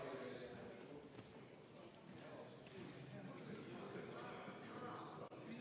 Meie, Konservatiivse Rahvaerakonna võetud vaheaeg on läbi.